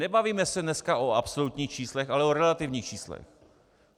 Nebavíme se dneska o absolutních číslech, ale o relativních číslech.